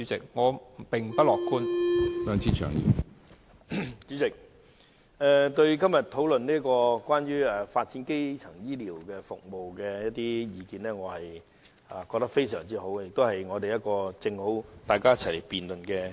主席，我覺得今天討論有關發展基層醫療服務的議案非常好，亦提供一個理想場合讓大家一起辯論。